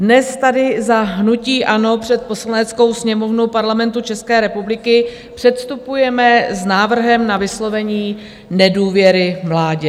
Dnes tady za hnutí ANO před Poslaneckou sněmovnu Parlamentu České republiky předstupujeme s návrhem na vyslovení nedůvěry vládě.